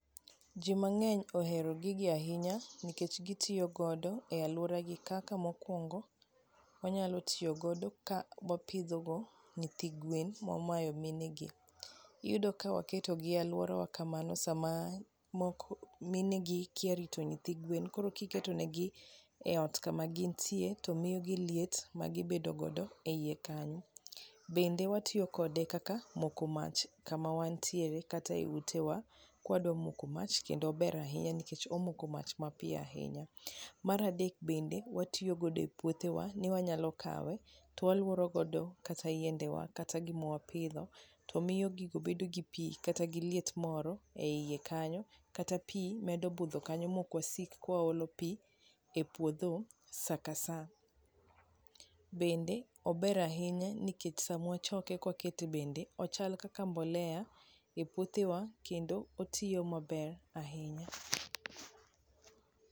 joma ng'eny ohero gigi ahinya nikech gitiyo godo e aluora gi kaka mokuongo onyalo tiyo godo ka opidho gi nyithi gwen mwamayo mine gi iyudo kawa keto gie aluorawa kamano sama moko mine gi kia rito nyithi gwen koro kiketo negi e ot kama gintie to miyo gi liet magi bedo godo e iye kanyo ,bende watiyo kode kaka moko mach kama wantiere kata e utewa kwa dwa moko mach kendo ber ahinya nikech wamoko mach mapiyo ahinya ,mar adek bende watiyo godo e puothewa ni wanyalo kawe to waluoro godo yiendewa kata gima wapidho to miyo gigo bedo gi pi kata gi liet moro e iye kanyo kata pi medo budho kanyo ma ok wasik kawa olo pi e puodho sakasa bende ober ahinya nikech samwa wachoke kwakete bende ochal kaka mbolea e puothewa kendo otiyo maber ahinya